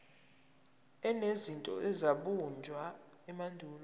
enezinto ezabunjwa emandulo